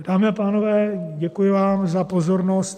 Dámy a pánové, děkuji vám za pozornost.